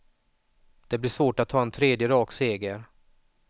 Det blir svårt att ta en tredje rak seger.